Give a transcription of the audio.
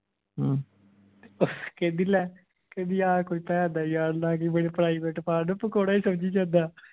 ਤੇ ਉਹ ਕਹਿੰਦੀ ਲੈ ਕਹਿੰਦੀ ਆਹ ਕੋਈ ਭੈਣ ਦਾ ਯਾਰ ਮੇਰੇ private part ਨੂੰ ਪਕੌੜਾ ਹੀ ਸਮਝੀ ਜਾਂਦਾ